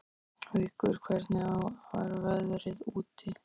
Haukur, hvernig er veðrið úti?